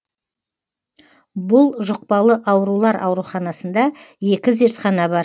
бұл жұқпалы аурулар ауруханасында екі зертхана бар